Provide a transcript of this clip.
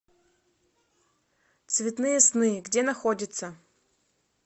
цветные сны где находится